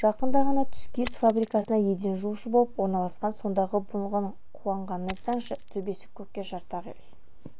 жақында ғана түскиіз фабрикасына еден жуушы болып орналасқан сондағы бұның қуанғанын айтсаңшы төбесі көкке жарты-ақ ел